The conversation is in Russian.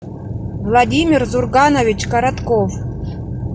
владимир зурганович коротков